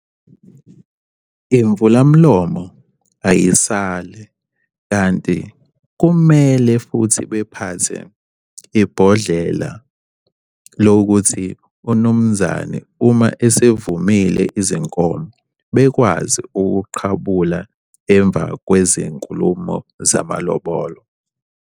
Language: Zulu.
Imvula mlomo ayisali, kanti kumele futhi bephathe ibhodlela lokuthi umnumzane uma esevumile izinkomo bekwazi ukuqhabula emva kwezinkulumo zamalobolo.